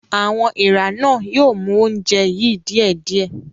Àwọn èèrà náà yóò mú oúnjẹ yìí díẹ̀díẹ̀.